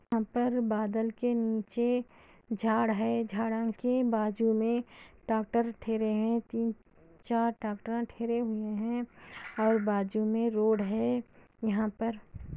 ऊपर बादल के नीचे झाड़ है झाड़ के बाजू में डॉक्टर ठहरे है तीन चार डॉक्टर ठहरे हुए है और बाजू में रोड यह पर --